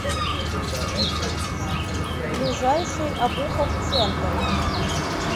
ближайший обуховъ центр